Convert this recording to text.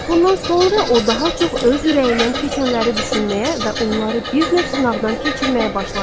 Bundan sonra o daha çox öz ürəyindən keçənləri düşünməyə və onları bir növ sınaqdan keçirməyə başladı.